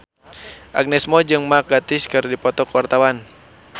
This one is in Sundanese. Agnes Mo jeung Mark Gatiss keur dipoto ku wartawan